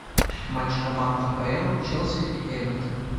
матч команд апл челси и эвертон